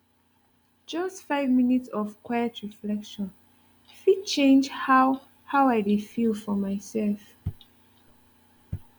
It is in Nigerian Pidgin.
just five minutes of quiet reflection fit change how how i dey feel for my self